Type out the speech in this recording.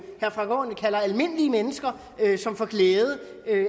herre frank aaen kalder almindelige mennesker som får glæde